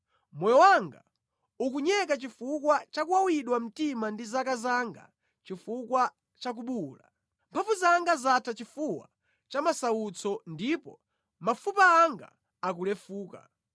Moyo wanga ukunyeka chifukwa cha kuwawidwa mtima ndi zaka zanga chifukwa cha kubuwula; mphamvu zanga zatha chifuwa cha masautso, ndipo mafupa anga akulefuka.